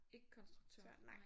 Ikke konstruktør